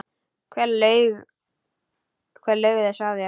Hver laug þessu að þér?